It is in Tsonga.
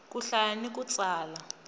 ku hlaya ni ku tsala